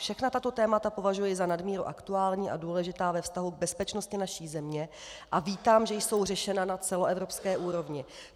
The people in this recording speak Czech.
Všechna tato témata považuji za nadmíru aktuální a důležitá ve vztahu k bezpečnosti naší země a vítám, že jsou řešena na celoevropské úrovni.